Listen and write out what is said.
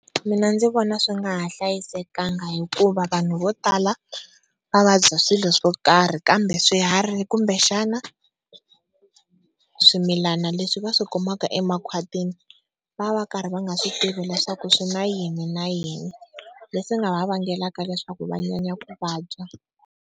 Mina ndzi vona swi nga ha hlayisekanga hikuva vanhu vo tala va vabya swilo swo karhi kambe swiharhi kumbe xana swimilana leswi va swi kumaka emakhwatini va va karhi va nga swi tivi leswaku swi na yini na yini leswi nga va vengelaka leswaku va nyanya ku vabya.